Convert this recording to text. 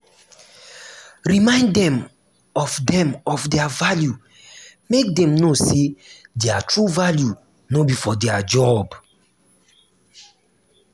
remind dem of dem of their value make dem know say their true value no be for their job